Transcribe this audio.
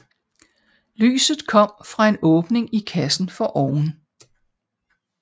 Lyset kom fra en åbning i kassen foroven